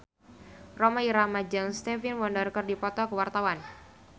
Rhoma Irama jeung Stevie Wonder keur dipoto ku wartawan